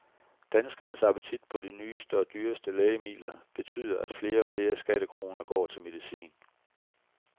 Danskernes appetit på de nyeste og dyreste lægemidler betyder, at flere og flere skattekroner går til medicin.